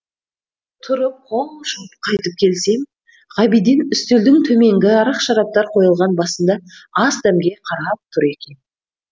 тұрып қол жуып қайтып келсем ғабиден үстелдің төменгі арақ шараптар қойылған басында ас дәмге қарап тұр екен